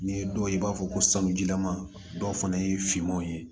N'i ye dɔw ye i b'a fɔ ko sanujilama dɔw fana ye finmanw ye